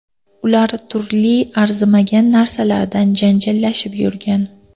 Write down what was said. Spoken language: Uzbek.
Ular turli arzimagan narsalardan janjallashib yurgan.